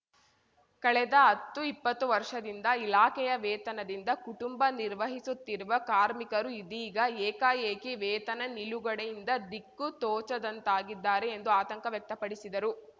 ಕಳೆದ ಹತ್ತುಇಪ್ಪತ್ತು ವರ್ಷದಿಂದ ಇಲಾಖೆಯ ವೇತನದಿಂದ ಕುಟುಂಬ ನಿರ್ವಹಿಸುತ್ತಿರುವ ಕಾರ್ಮಿಕರು ಇದೀಗ ಏಕಾಏಕಿ ವೇತನ ನಿಲುಗಡೆಯಿಂದ ದಿಕ್ಕು ತೋಚದಂತಾಗಿದ್ದಾರೆ ಎಂದು ಆತಂಕ ವ್ಯಕ್ತಪಡಿಸಿದರು